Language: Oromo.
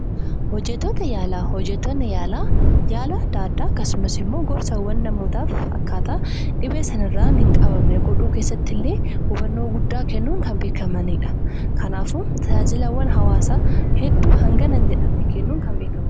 Hojjettoota yaalaa: Hojjettoonni yaalaa yaala adda addaa akkasumas immoo gorsawwan namootaaf akkaataa dhibee sana irraa hin qabamne godhamne godhuu keessatti illee hubannoo guddaa kennuun kan beekamanidha. Kanaafuu tajaajilawwan hawaasaaf hedduu hangana jedhamee hin beekamne kennuun kan beekamanidha.